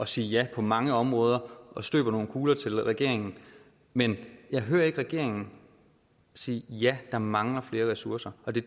sige ja på mange områder og støbe nogle kugler til regeringen men jeg hører ikke regeringen sige ja der mangler flere ressourcer og det